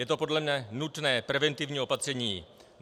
Je to podle mne nutné preventivní opatření.